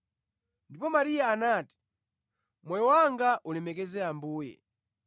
Ndipo Mariya anati: “Moyo wanga ulemekeza Ambuye.